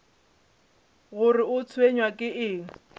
gore o tshwenywa ke eng